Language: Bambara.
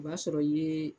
O b'a sɔrɔ i ye